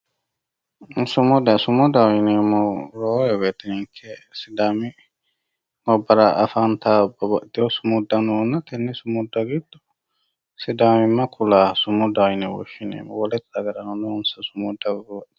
Sumudaho yineemmohu sidaami gobbara afantawoo babbaxewoo sumudda noona tenne sumudda giddo sidaamimma kulawooha sumudaho yine woshshineemmo wole dagarano noonsa sumudda togooti